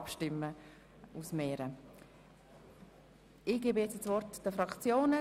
Wir kommen jetzt zu den Fraktionen.